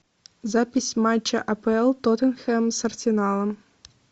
запись матча апл тоттенхэм с арсеналом